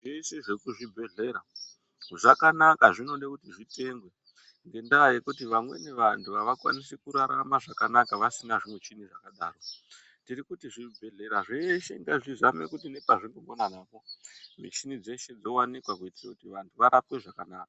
Zvese zvekuzvibhehlera zvakanaka zvinode kuti zvitengwe ngendaa yekuti vamweni vantu havakwanisi kurarama zvakanaka vasina zvimuchini zvakadaro. Tirikuti zvibhehlera zveshe ngazvizame kuti nepazvinogona napo michini dzeshe dzowanikwa kuitire kuti vantu varapwe zvakanaka.